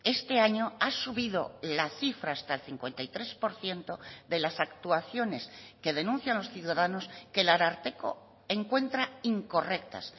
este año ha subido la cifra hasta el cincuenta y tres por ciento de las actuaciones que denuncian los ciudadanos que el ararteko encuentra incorrectas